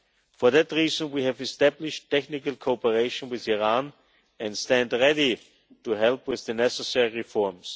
For that reason we have established technical cooperation with Iran and stand ready to help with the necessary reforms.